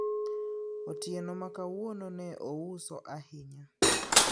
otieno makawuono ne ouso ahinya